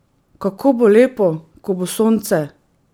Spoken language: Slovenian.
Kako bo lepo, ko bo sonce!